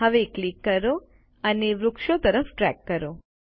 હવે ક્લિક કરો અને વૃક્ષો તરફ ડ્રેગ કરો